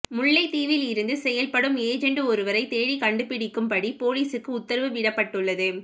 முல்லைத் தீவில் இருந்து செயல்படும் ஏஜெண்டு ஒருவரை தேடிக் கண்டுபிடிக்கும் படி போலீசுக்கு உத்தரவிடப்பட்டுள்ளது